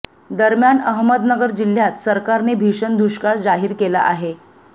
दरम्यान अहमदनगर जिल्ह्यात सरकारने भीषण दुष्काळ जाहीर केला आहे